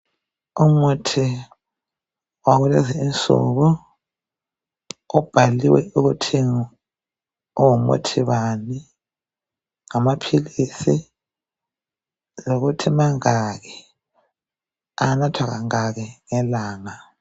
Umuthi wakulezinsuku ubhaliwe ukuthi ungumuthi bani. Amaphilizi lokuthi mangaki, anathwa kangaki ngelanga.